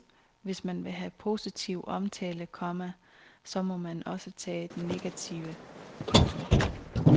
Hvis man vil have positiv omtale, komma så må man også tage den negative. punktum